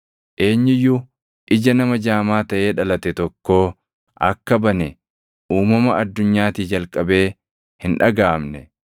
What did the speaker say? Eenyu iyyuu ija nama jaamaa taʼee dhalate tokkoo akka bane uumama addunyaatii jalqabee hin dhagaʼamne.